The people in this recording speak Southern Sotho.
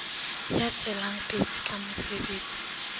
ya tswelang pele ka mosebetsi